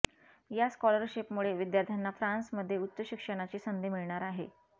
या स्कॉलरशीपमुळे विद्यार्थ्यांना फ्रान्समध्ये उच्च शिक्षणाची संधी मिळणार आहे